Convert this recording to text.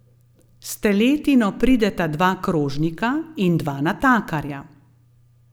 S teletino prideta dva krožnika in dva natakarja.